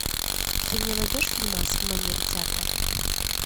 ты мне найдешь фильмас в манере театра